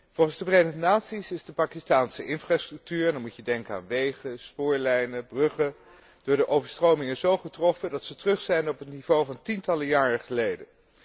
Volgens de Verenigde Naties is de Pakistaanse infrastructuur en dan moet je denken aan wegen, spoorlijnen, bruggen door de overstromingen zo getroffen dat zij terug zijn op het niveau van tientallen jaren geleden.